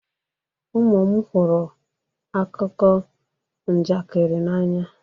Ụmụ m hụrụ akụkọ njakịrị n'anya